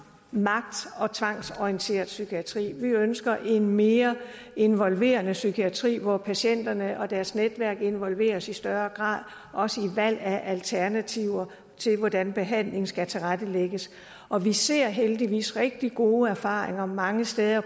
magt og tvangsorienteret psykiatri vi ønsker en mere involverende psykiatri hvor patienterne og deres netværk involveres i større grad også i valg af alternativer til hvordan behandling skal tilrettelægges og vi ser heldigvis rigtig gode erfaringer mange steder